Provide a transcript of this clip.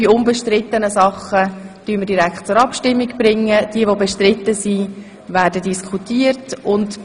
Die unbestrittenen Dinge würden wir direkt zur Abstimmung bringen, und die bestrittenen Dinge würden wir diskutieren.